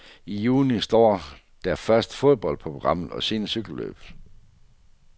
I juni står der først fodbold på programmet og siden cykelløb.